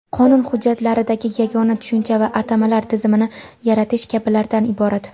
qonun hujjatlaridagi yagona tushuncha va atamalar tizimini yaratish kabilardan iborat.